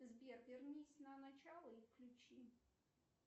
сбер вернись на начало и включи